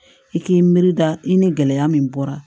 I k'i miiri da i ni gɛlɛya min bɔra